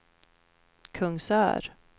Kungsör